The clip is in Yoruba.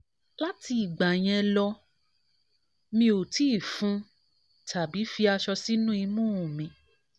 lati igba yẹn lọ mi o ti fun tabi ti tabi fi aṣọ sinu imu um mi